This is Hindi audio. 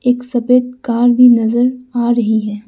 एक सफेद कार भी नजर आ रही है।